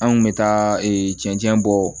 An kun bɛ taa cɛncɛn bɔ